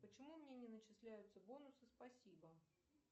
почему мне не начисляются бонусы спасибо